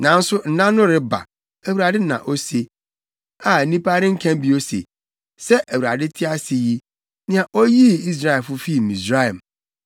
“Nanso nna no reba,” Awurade na ose, “a nnipa renka bio se, ‘Sɛ Awurade te ase yi, nea oyii Israelfo fii Misraim,’